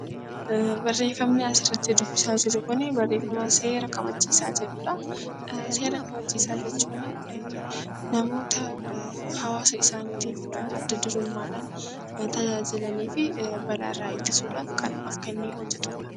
Barreeffamni asirratti dubbisaa jirru Kun barreeffama seera kabachiisaa jedhudha. Seera kabachiisaa jechuun namoota hawaasa isaaniitiif adda durummaadhaan hirmaataa jiranii fi balaarraa ittisuudhaaf kan of kennee hojjatudha.